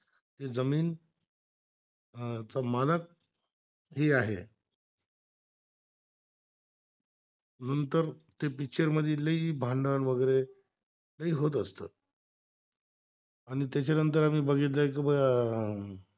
नंतर ते पिक्चर मधील ही भांडण वगैरे ही होत असतो आणि त्याच्यानंतर आम्ही बघितले अह